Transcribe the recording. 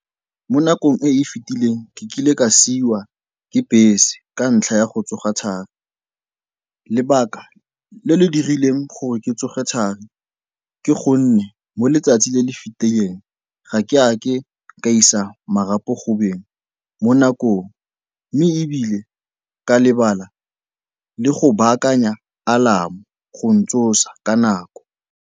Mo nakong e e fitileng ke kile ka siiwa ke bese ka ntlha ya go tsoga thari. Lebaka le le dirileng gore ke tsoge thari ke gonne mo letsatsi le le fetileng ga ke a ka ka isa marapo go beng mo nakong, mme ebile ka lebala le go baakanya alarm-o go ntsosa ka nako.